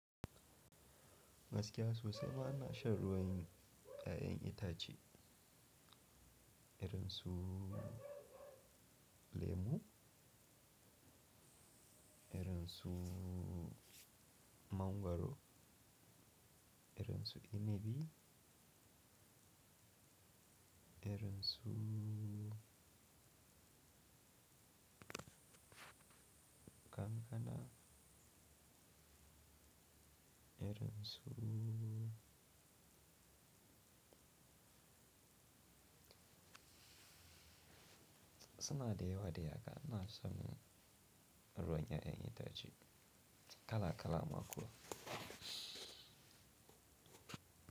Gaskiya sosai ma ina shan ruwan 'ya'yan itace, irin su lemu, irin su mangwaro, irin su inibi, irin su kankana, irin su Suna da yawadai haka ina shan ruwan 'ya'yan itace kala kala ma kuwa.